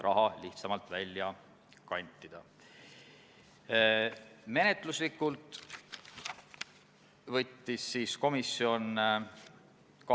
Aga kas viie aasta pärast siis olukord muutub?